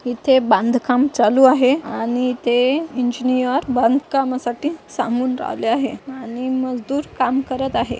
इथे बांधकाम चालू आहे आणि इथे इंजिनीअर बांधकामासाठी सांगून आले आहे आणि मजदूर काम करत आहे.